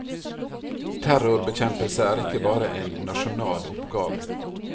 Terrorbekjempelse er ikke bare en nasjonal oppgave.